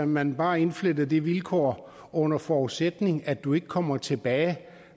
man bare indflettede det vilkår under forudsætning af at du ikke kommer tilbage